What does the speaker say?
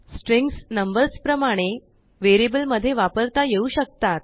strings नंबर्सप्रमाणेवेरिअबल मध्ये वापरता येऊ शकतात